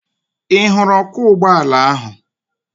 Ị hụrụ ọkwọ ụgbọala ahụ?